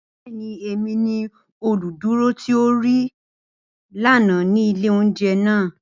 Bẹẹni, Emi ni oluduro ti o rii lana ni ile ounjẹ naa.